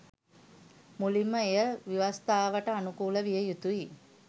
මුලින්ම එය ව්‍යවස්ථාවට අනුකූල විය යුතුයි.